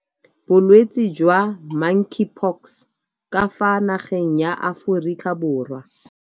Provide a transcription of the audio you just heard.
Bolwetse jwa Monkeypox ka fa nageng ya Aforika Borwa.